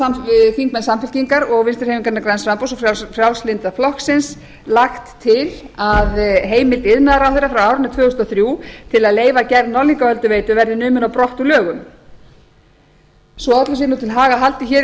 hafa þingmenn samfylkingar og vinstri hreyfingarinnar græns framboðs og frjálslynda flokksins lagt til að heimild iðnaðarráðherra frá árinu tvö þúsund og þrjú til að leyfa gerð norðlingaölduveitu verði numin á brott úr lögum svo öllu sé til haga haldið